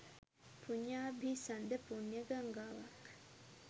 පුඤ්ඤාභිසන්ද පුණ්‍ය ගංගාවක්.